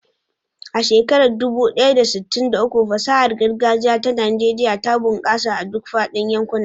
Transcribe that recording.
A shekarar dubu ɗaya da sittin da uku, fasahar gargajiya ta Najeriya ta bunƙasa a duk faɗin yankuna.